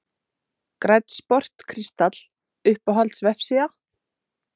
Grænn sport kristall Uppáhalds vefsíða?